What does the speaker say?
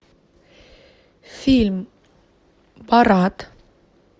фильм парад